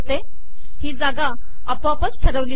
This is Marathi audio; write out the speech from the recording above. ही जागा आपोआपच ठरवली जाते